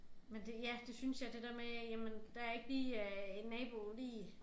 Men det ja det synes jeg det der med jamen der ikke lige øh en nabo lige